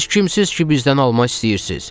Siz kimsiniz ki, bizdən alma istəyirsiz?